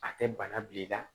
A tɛ bana bil'i la